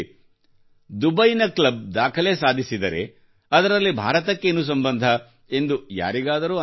ದುಬೈನ ಕ್ಲಬ್ ದಾಖಲೆ ಸಾಧಿಸಿದರೆ ಅದರಲ್ಲಿ ಭಾರತಕ್ಕೆ ಏನು ಸಂಬಂಧ ಎಂದು ಯಾರಿಗಾದರೂ ಅನಿಸಬಹುದು